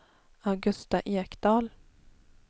Augusta Ekdahl